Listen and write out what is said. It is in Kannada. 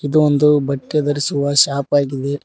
ಇದು ಒಂದು ಬಟ್ಟೆ ಧರಿಸುವ ಶಾಪ್ ಆಗಿದೆ.